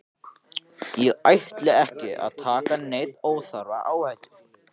Ég ætla ekki að taka neina óþarfa áhættu,